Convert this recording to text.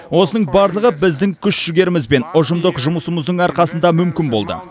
осының барлығы біздің күш жігеріміз бен ұжымдық жұмысымыздың арқасында мүмкін болды